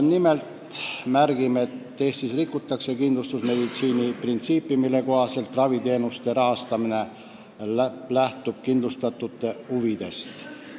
Nimelt märgime, et Eestis rikutakse kindlustusmeditsiini printsiipi, mille kohaselt raviteenuste rahastamine lähtub kindlustatute huvidest.